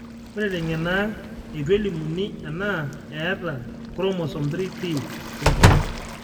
Ore teng'eno aang, eitu elimuni ena eeta Chromosome 3p syndrome .